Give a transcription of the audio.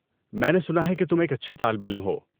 میں نے سنا ہے کہ تم ایک اچھے طالب علم ہو۔